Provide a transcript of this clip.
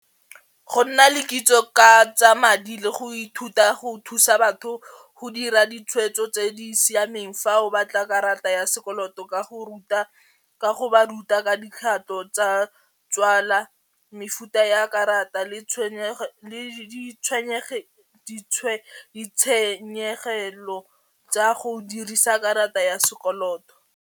Go nna le kitso ka tsa madi le go ithuta go thusa batho go dira ditshwetso tse di siameng fa o batla karata ya sekoloto ka go ruta ka go ba ruta ka tsa tswala mefuta ya karata le ditshenyegelo tsa go dirisa karata ya sekoloto.